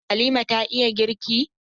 Halima ta iya girki?